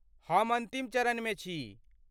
हम अन्तिम चरणमे छी।